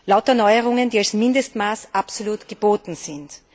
Lauter Neuerungen, die als Mindestmaß absolut geboten sind.